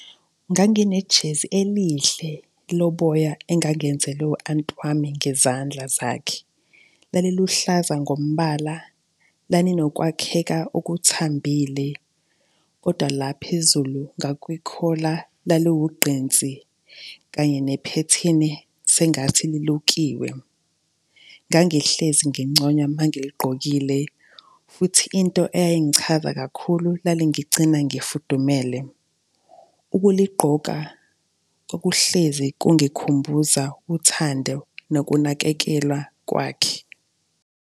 Nganginejezi elihle loboya engangenzelwe u-anti wami ngezandla zakhe. Laliluhlaza ngombala, lalinokwakheka okuthambile kodwa la phezulu ngakwikhola laliwugqinsi kanye nephethini sengathi lilukiwe. Ngangihlezi nginconywa mangiligqokile. Futhi into eyayingichaza kakhulu lalingigcina ngifudumele. Ukuligqoka kwakuhlezi kungikhumbuza uthando nokunakekelwa kwakhe.